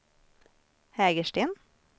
Hägersten